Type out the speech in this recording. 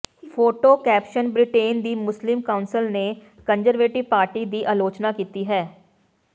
photo caption Britain ਦੀ Muslim Council ਨੇ Conservative Party ਦੀ ਅਲੋਚਨਾ ਕੀਤੀ ਹੈ